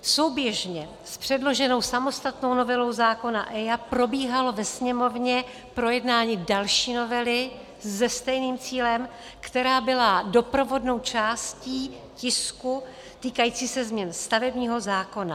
Souběžně s předloženou samostatnou novelou zákona EIA probíhalo ve Sněmovně projednávání další novely se stejným cílem, která byla doprovodnou částí tisku, týkajícího se změn stavebního zákona.